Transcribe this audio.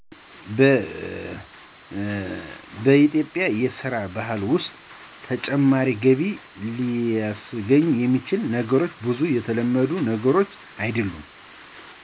በኢትዮጵያ የስራ ባህል ውስጥ ተጨማሪ ገቢ ሊስገኙ የሚችሉ ነገሮች ብዙም የተለመዱ ነገሮች አይድሉም።